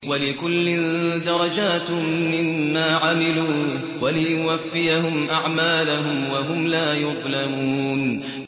وَلِكُلٍّ دَرَجَاتٌ مِّمَّا عَمِلُوا ۖ وَلِيُوَفِّيَهُمْ أَعْمَالَهُمْ وَهُمْ لَا يُظْلَمُونَ